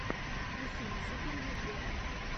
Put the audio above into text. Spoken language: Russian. включи мне супер евгеху